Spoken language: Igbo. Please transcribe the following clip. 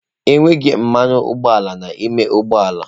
Enweghị mmanụ ụgbọala n'ime ụgbọ ala.